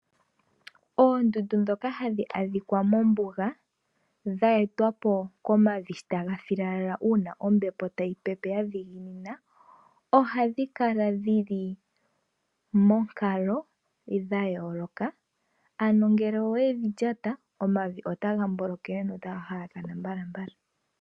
Oondundu ndhoka ha dhi adhika mombuga, dha etwapo komavi sho ta ga filalala uuna ombepo ta yi peperoni ya dhiginina, oha dhi kala dhi li monkalo ya yooloka, ano ngele owe dhi lyata, onavi ota ka mbolokele no ta ga halakana mbalambala.